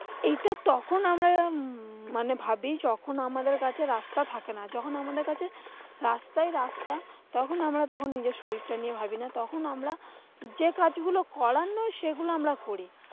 এইটা তখন আমরা উম মানে ভাবি যখন আমাদের কাছে রাস্তা থাকে না। যখন আমাদের কাছে রাস্তাই রাস্তা তখন আমরা তখন নিজের শরীরটা নিয়ে ভাবি না। তখন আমরা যে কাজগুলো করার নয় সেগুলো আমরা করি।